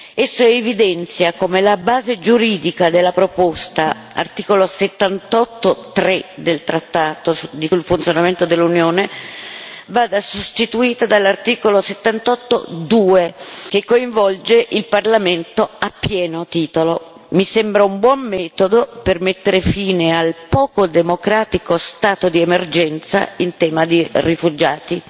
Esso evidenzia come la base giuridica della proposta articolo 78, paragrafo 3, del trattato sul funzionamento dell'Unione europea vada sostituita dall'articolo 78, paragrafo 2, che coinvolge il Parlamento a pieno titolo. Mi sembra un buon metodo per mettere fine al poco democratico stato di emergenza in tema di rifugiati.